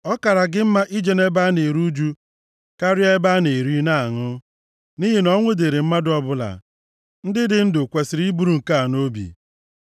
Ọ kaara gị mma ije nʼebe a na-eru ụjụ karịa ebe a na-eri na-aṅụ. Nʼihi na ọnwụ dịịrị mmadụ ọbụla; ndị dị ndụ kwesiri iburu nke a nʼobi.